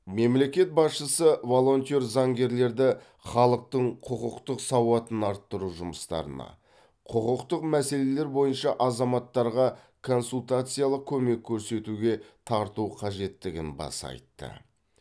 мемлекет басшысы волонтер заңгерлерді халықтың құқықтық сауатын арттыру жұмыстарына құқықтық мәселелер бойынша азаматтарға консультациялық көмек көрсетуге тарту қажеттігін баса айтты